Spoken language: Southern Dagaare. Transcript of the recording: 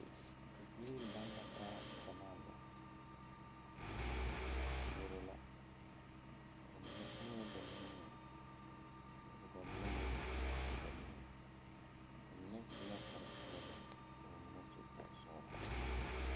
Nii laŋ la taa gyɛmaa ba puoro la ba mine uuŋee ba nimie ka ba mine meŋ a yuo ba nige ba mine su la kparepeɛɛli ka ba mine su kparesɔglɔ.